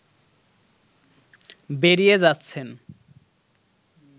বেরিয়ে যাচ্ছেন